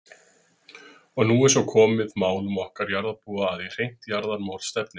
Og nú er svo komið málum okkar jarðarbúa að í hreint jarðarmorð stefnir.